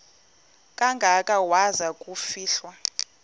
kangaka waza kufihlwa